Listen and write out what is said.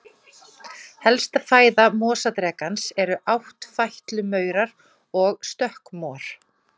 Helsta fæða mosadrekans eru áttfætlumaurar og stökkmor.